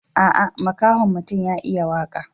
Aa, makahon mutum ya iya waka.